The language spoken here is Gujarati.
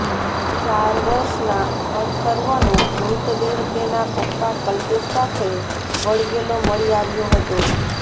ચાર વર્ષના અથર્વનો મૃતદેહ તેના પપ્પા કલ્પેશ સાથે વળગેલો મળી આવ્યો હતો